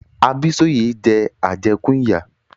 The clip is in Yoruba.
Abísóyẹ̀ jẹ àjẹ́kún ìyà.